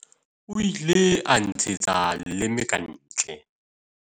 o ile a nntshetsa leleme ka ntle